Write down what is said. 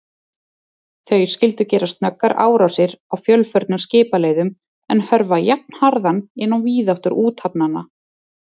Þau skyldu gera snöggar árásir á fjölförnum skipaleiðum, en hörfa jafnharðan inn á víðáttur úthafanna.